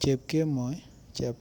chepkemoi ,chep.